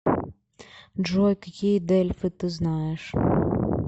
джой какие дельфы ты знаешь